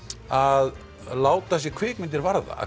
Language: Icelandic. að láta sig kvikmyndir varða